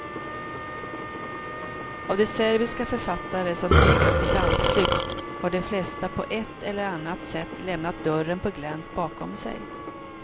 Av de serbiska författare som tvingats i landsflykt har de flesta på ett eller annat sätt lämnat dörren på glänt bakom sig.